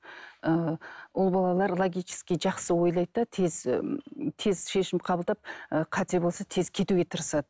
ыыы ұл балалар логический жақсы ойлайды да тез тез шешім қабылдап ы қате болса тез кетуге тырысады